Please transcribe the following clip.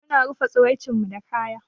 Mu na rufa tsaraicen mu da kaya.